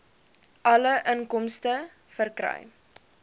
alle inkomste verkry